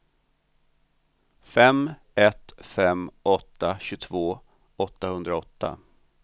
fem ett fem åtta tjugotvå åttahundraåtta